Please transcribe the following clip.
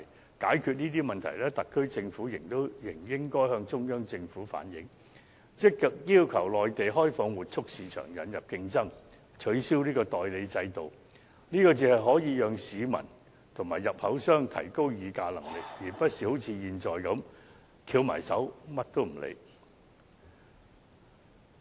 要解決這些問題，特區政府仍應該向中央政府反映，積極要求內地開放活畜市場，引入競爭，取消代理制度，這才可讓市民和入口商提高議價能力，而不是好像現在般，翹起雙手，甚麼也不理。